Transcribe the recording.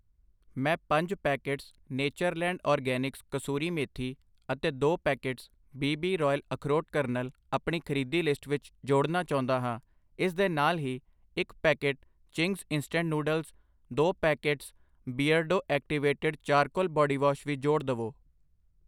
ਮੈਂ ਪੰਜ packets Natureland organics kasuri methi ਅਤੇ ਦੋ ਪੈਕੇਟਸ ਬੀ ਬੀ ਰਾਇਲ ਅਖਰੋਟ ਕਰਨਲ ਅਪਣੀ ਖਰੀਦੀ ਲਿਸਟ ਵਿੱਚ ਜੋੜਨਾ ਚਾਉਂਦਾ ਹਾਂ I ਇਸ ਦੇ ਨਾਲ ਹੀ ਇੱਕ ਪੈਕੇਟ ਚਿੰਗਜ਼ ਇੰਸਟੈਂਟ ਨੂਡਲਜ਼, ਦੋ packets Beardo activated charcoal bodywash ਵੀ ਜੋੜ ਦਵੋ I